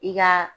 I ka